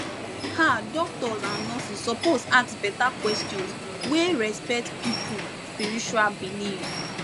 um doctors and nurses suppose ask better questions wey respect people spiritual belief